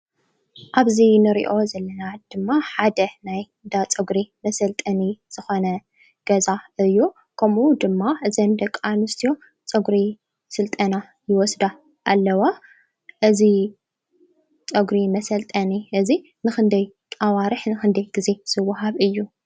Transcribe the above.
ኣብዚ እንሪኦ ዘለና ድማ ሓደ ናይ እንዳ ፀጉሪ መሰልጠኒ ዝኾነ ገዛ እዩ። ከምኡ ድማ እዘን ደቂ ኣንስትዮ ፀጉሪ ስልጠና ይወስዳ ኣለዋ። እዚ ፀጉሪ መሰልጠኒ እዚ ንኽንደይ ኣዋርሕ ንኽንደይ ግዜ ዝዋሃብ እዩ?